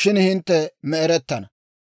shin hintte me'erettana!